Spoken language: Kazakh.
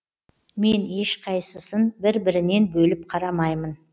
мен ешқайсысын бір бірінен бөліп қарамаймын